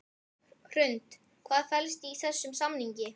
Hrund: Hvað felst í þessum samningi?